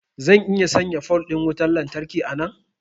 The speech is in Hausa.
zan iya sanya pole din wutar lantarki a nan